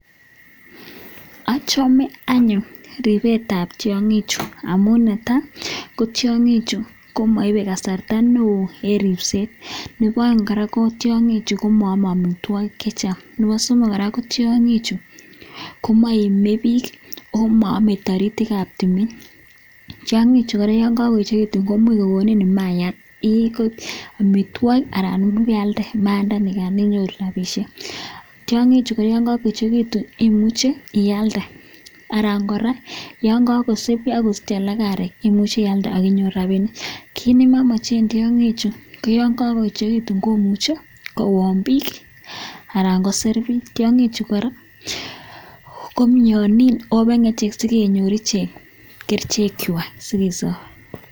Achome anyun ribet ab tiangik chuk amun netai ko tiangik Chu komaibe kasarta neon en ribset Nebo aeng ko tiangik Chu komayame amitwagik chechang Nebo somok ko tiangik Chu komaimebik omaame taritik ab tumin tiangik Chu koraa yangagoechekitun komuch kokoni imayat anan komayat neimuche iyalde akinyoru rabishek tiangik Chu yangagoechekitun imuche iyalde anan koraa yangakosich arek koimuche iyalde akinyoru rabinik kit nemamachen tiangik Chu koyangagoechekitun komuch Koon bik anan koser bik ako tiangik Chu koraa kobenge sikonyor iche ak kerchek chwak sikesib.